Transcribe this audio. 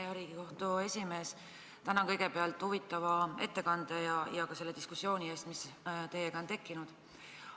Hea Riigikohtu esimees, tänan kõigepealt huvitava ettekande ja ka selle diskussiooni eest, mis teiega on tekkinud.